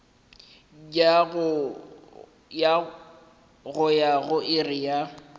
go ya go iri ya